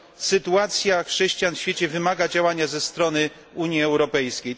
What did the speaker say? Sytuacja chrześcijan w świecie wymaga działania ze strony Unii Europejskiej.